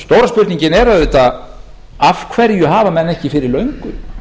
stóra spurningin er auðvitað af hverju hafa menn ekki fyrir löngu